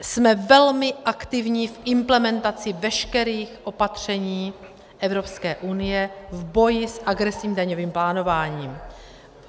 Jsme velmi aktivní v implementaci veškerých opatření Evropské unie v boji s agresivním daňovým plánováním.